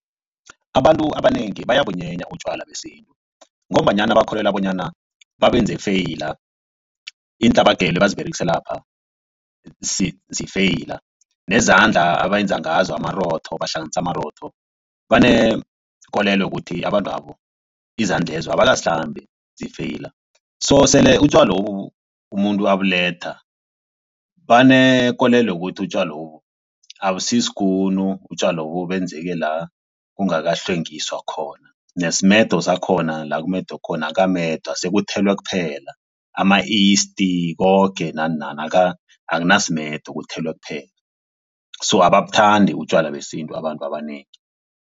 Abantu abanengi bayabunyenya utjwala besintu ngombanyana bakholelwa bonyana babenze feyila iintlabagelo abaziberegise lapha zifeyila nezandla abenza ngazo amarotho bahlanganisa amarotho banekolelo yokuthi abantwabo izandlezo abakazihlambi zifeyila. So sele utjwalobu umuntu abuletha banekolelo yokuthi utjwalobu abusisikunu utjwalobu benzeke la kungakahlwengiswa khona nasimedo sakhona la kumedwe khona akamedwa sekuthelwe kuphela ama-isti koke nanani akunasimedo kuthelwe kuphela so ababuthandi utjwala besintu abantu abanengi.